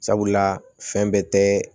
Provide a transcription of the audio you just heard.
Sabula fɛn bɛɛ tɛ